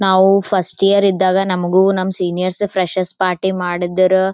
ನಾವು first year ಇದ್ದಾಗ ನಮ್ಮಗೂ ನಮ್ಮ ಸೀನಿಯರ್ಸ್ ಫ್ರೆಷೆಸ್ ಪಾರ್ಟಿ ಮಾಡಿದರು.